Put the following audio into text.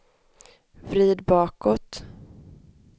vrid bakåt